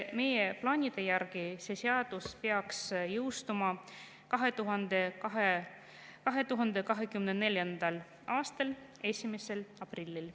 Meie plaanide järgi see seadus peaks jõustuma 2024. aastal 1. aprillil.